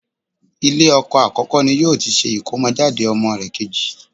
Ilé ọkọ àkọ́kọ́ ni yóò ti ṣe ìkómọjáde ọmọ rẹ̀ kejì